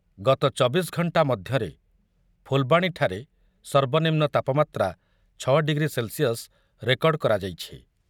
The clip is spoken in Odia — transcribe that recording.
ଗତ ଚବିଶ ଘଣ୍ଟା ମଧ୍ୟରେ ଫୁଲବାଣୀଠାରେ ସର୍ବନିମ୍ନ ତାପମାତ୍ରା ଛଅ ଡିଗ୍ରୀ ସେଲ୍‌ସିୟସ ରେକର୍ଡ଼ କରାଯାଇଛି ।